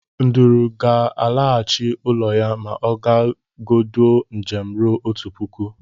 Nduru gal alaghachi ulọ ya ma ogagodụọ njem ruru otu puku.